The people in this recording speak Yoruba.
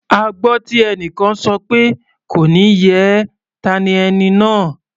A gbọ́ tí ẹnìkan sọ pé "kò ní yẹ ẹ́" ta ni ẹni náà?